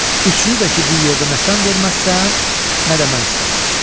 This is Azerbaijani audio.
Üçünü də ki, bir yerdə nə sən verməzsən, nə də mən istəmərəm.